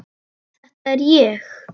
Þetta er ég.